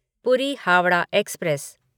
पूरी हावड़ा एक्सप्रेस